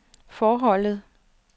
forholdet